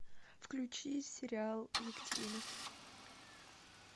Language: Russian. включи сериал екатерина